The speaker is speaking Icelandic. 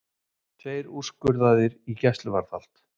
Tveir úrskurðaðir í gæsluvarðhald